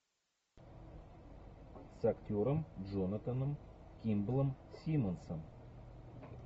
с актером джонатаном кимблом симмонсом